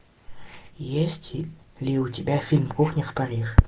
есть ли у тебя фильм кухня в париже